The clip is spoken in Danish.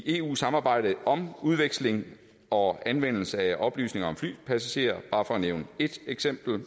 eu samarbejde om udveksling og anvendelse af oplysninger om flypassagerer jeg bare nævne et eksempel